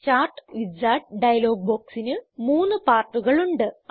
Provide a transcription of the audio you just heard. chart wizard dialog ബോക്സിന് മൂന്ന് പാർട്ടുകൾ ഉണ്ട്